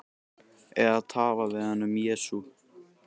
Eða tala við hann um Jesú.